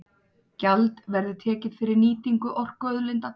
Gjald verði tekið fyrir nýtingu orkuauðlinda